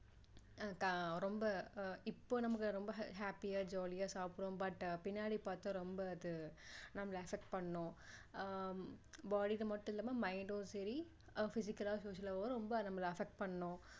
ரொம்ப இப்போ நமக்கு ரொம்ப happy யா jolly யா சாப்பிடுறோம் but பின்னாடி பார்த்தா ரொம்ப அது நம்மள affect பண்ணும் ஆஹ் body க்கு மட்டும் இல்லாம mind டும் சரி physical லா social லாவும் ரொம்ப நம்மள affect பண்ணும்